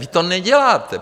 Vy to neděláte.